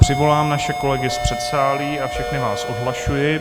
Přivolám naše kolegy z předsálí a všechny vás odhlašuji.